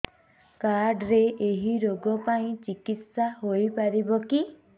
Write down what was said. card ରେ ଏଇ ରୋଗ ପାଇଁ ଚିକିତ୍ସା ହେଇପାରିବ କି